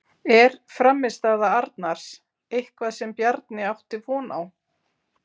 Er frammistaða Arnars eitthvað sem Bjarni átti von á?